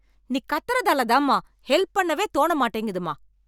நீ கத்தறதால தாம்மா ஹெல்ப் பண்ணவே தோண மாட்டிங்குதும்மா.